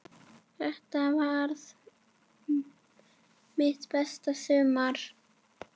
Þetta varð mitt besta sumar.